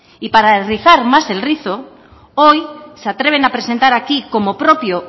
y para rizar más el rizo hoy se atreven a presentar aquí como propio